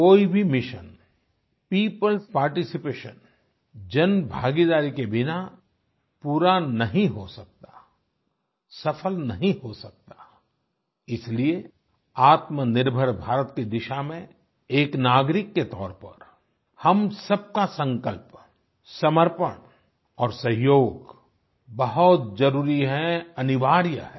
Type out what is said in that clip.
कोई भी मिशन peopleएस पार्टिसिपेशन जनभागीदारी के बिना पूरा नहीं हो सकता सफल नहीं हो सकता इसीलिए आत्मनिर्भर भारत की दिशा में एक नागरिक के तौर पर हम सबका संकल्प समर्पण और सहयोग बहुत जरूरी है अनिवार्य है